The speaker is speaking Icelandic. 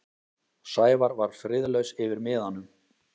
Sævar var friðlaus yfir miðanum.